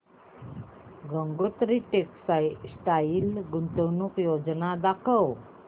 Gangotri textile गुंतवणूक योजना दाखव